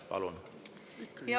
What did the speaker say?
Palun!